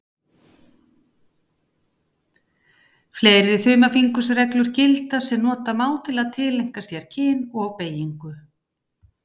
Fleiri þumalfingursreglur gilda sem nota má til að tileinka sér kyn og beygingu.